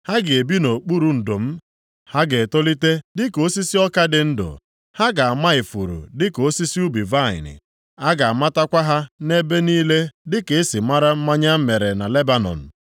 Ha ga-ebi nʼokpuru ndo m. Ha ga-etolite dịka osisi ọka dị ndụ. Ha ga-ama ifuru dịka osisi ubi vaịnị, a ga-amatakwa ha nʼebe niile dịka e si mara mmanya e mere na Lebanọn.